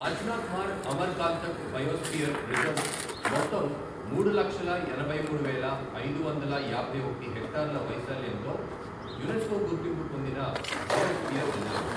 Achanakmar Amarkantak biosphere reserve మొత్తం మూడు లక్షల ఎనభై మూడు వేల ఐదు వందల యాభై ఒకటి హెక్టార్ల వైశాల్యంతో యునెస్కో గుర్తింపు పొందిన బయోస్పియర్ రిజర్వ్.